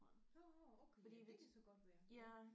Nåh okay ja det kan så godt være